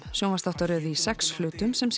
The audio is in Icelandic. sjónvarpsþáttum í sex hlutum sem